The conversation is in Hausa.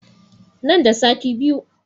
Nan da sati biyu